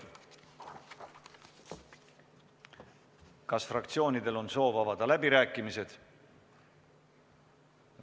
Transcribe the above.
Kas fraktsioonidel on soovi avada läbirääkimised?